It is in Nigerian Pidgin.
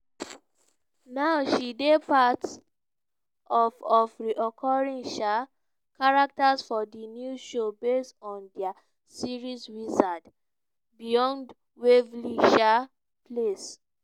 now she dey part of of reoccuring um characters for di new show based on dat series wizards beyond waverly um place.